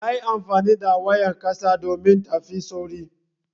Yayi amfani da wayar ƙasa domin tafi sauri.